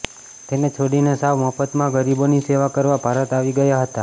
તેને છોડીને સાવ મફતમાં ગરીબોની સેવા કરવા ભારત આવી ગયા હતા